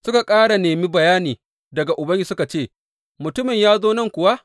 Suka ƙara nemi bayani daga Ubangiji suka ce, Mutumin ya zo nan kuwa?